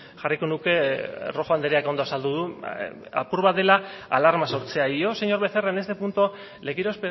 jarriko nuke rojo andreak ondo azaldu du apur bat dela alarma sortzea y yo señor becerra en este punto le quiero